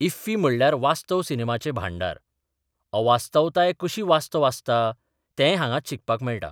IFFI म्हणल्यार वास्तव सिनेमाचें भांडार अवास्तवताय कशी वास्तव आसता तेंय हांगांच शिकपाक मेळटा.